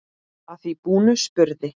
Að því búnu spurði